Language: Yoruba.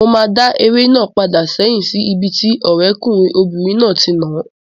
Mo máa dá eré náà padà sẹ́hìn sí ibi tí ọ̀rẹ́kùnrin obìnrin náà ti nàá